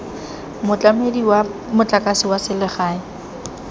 motlamedi wa motlakase wa selegae